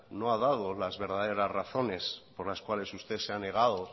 no ha dado las verdaderas razones por las cuáles usted se ha negado